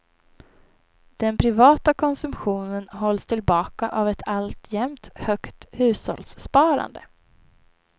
Den privata konsumtionen hålls tillbaka av ett alltjämt högt hushållssparande.